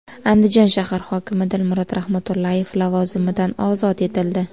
Andijon shahar hokimi Dilmurod Rahmatullayev lavozimidan ozod etildi.